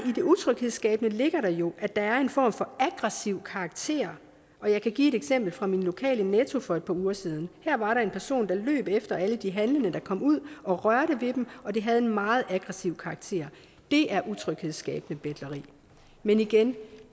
utryghedsskabende ligger der jo at der er en form for aggressiv karakter og jeg kan give et eksempel fra min lokale netto for et par uger siden her var der en person der løb efter alle de handlende der kom ud og rørte ved dem og det havde en meget aggressiv karakter det er utryghedsskabende betleri men igen